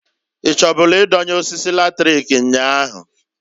I chọbụlụ idonye osisi latrik nnyaa ahu?